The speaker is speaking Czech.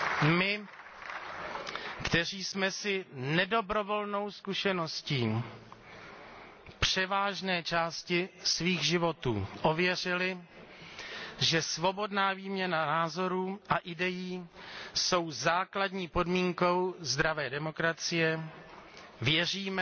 My, kteří jsme si nedobrovolnou zkušeností převážné části svých životů ověřili, že svobodná výměna názorů a idejí jsou základní podmínkou zdravé demokracie, věříme,